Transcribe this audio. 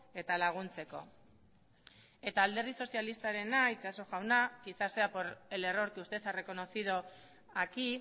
eta laguntzeko eta alderdi sozialistarena itxaso jauna quizás sea por el error que usted ha reconocido aquí